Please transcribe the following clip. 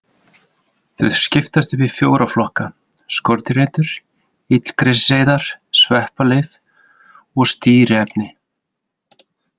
Þau skiptast í fjóra flokka: Skordýraeitur, illgresiseyðar, sveppalyf og stýriefni.